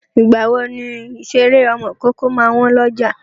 Ìgbàwo ni ìṣeré ọmọ ìkókó máa wọ́n lọ́jà?